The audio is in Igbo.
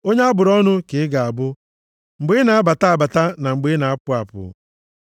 Onye a bụrụ ọnụ ka ị ga-abụ mgbe ị na-abata abata na mgbe ị na-apụ apụ.